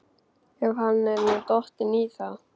Ef hann er nú dottinn í það?